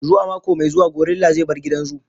Zuwa mako mai zuwa gorilla zai bar gidan zoo.